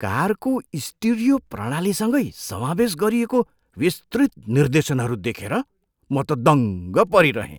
कारको स्टिरियो प्रणालीसँगै समावेश गरिएको विस्तृत निर्देशनहरू देखेर म त दङ्ग परिरहेँ।